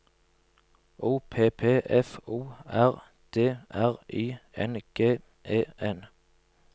O P P F O R D R I N G E N